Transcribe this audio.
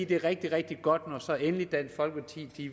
det er rigtig rigtig godt når så endelig dansk folkeparti